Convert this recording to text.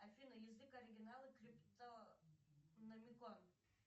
афина язык оригинала криптономикон